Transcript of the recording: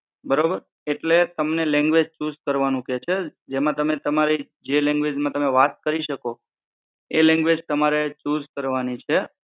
બરોબર, એટલે તમને લેન્ગુએજ઼ ચૂઝ કરવાનું કે છે જેમાં તમે તમારી જે લેન્ગુએજ઼ માં તમે વાત કરી શકો એ લેન્ગુએજ઼ તમારે ચૂઝ કરવાની છે